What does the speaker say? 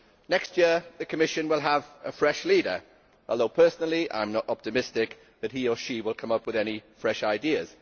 Next year the Commission will have a fresh leader, although personally I am not optimistic that he or she will come up with any fresh ideas.